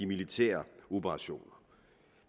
militære operationer